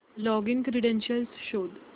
login credentials शोध